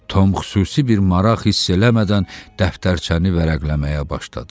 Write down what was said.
Tom xüsusi bir maraq hiss eləmədən dəftərçəni vərəqləməyə başladı.